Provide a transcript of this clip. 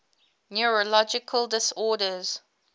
neurological disorders